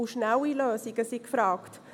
Sie müssen schnell gefunden werden.